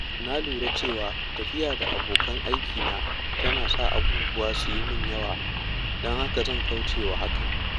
Na lura cewa tafiya da abokan aikina tana sa abubuwa su yi min yawa, don haka zan kauce wa hakan.